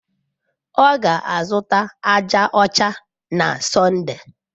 Ọ ga-azụta aja ọcha na Sọnde.